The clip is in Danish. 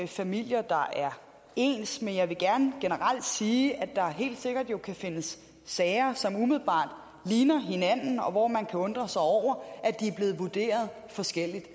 familier der er ens men jeg vil gerne generelt sige at der helt sikkert kan findes sager som umiddelbart ligner hinanden og hvor man kan undre sig over at de er blevet vurderet forskelligt